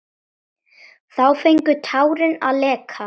Þá fengu tárin að leka.